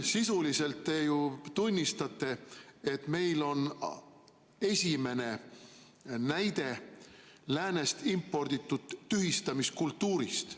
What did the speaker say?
Sisuliselt te ju tunnistate, et meil on esimene näide läänest imporditud tühistamiskultuurist.